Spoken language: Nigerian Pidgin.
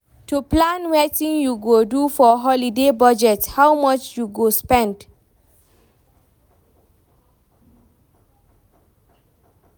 To plan wetin you go do for holiday budget how much you go spend